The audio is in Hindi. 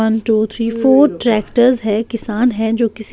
one two three four tractors हैं किसान हैं जो किसी--